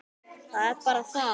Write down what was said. Það er bara það.